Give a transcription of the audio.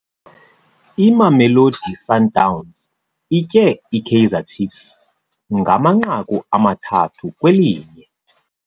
Imamelosi Sundowns itye iKaizer Ciefs ngamanqaku amathathu kwelinye.